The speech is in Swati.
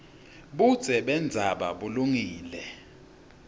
budze bendzaba bulungile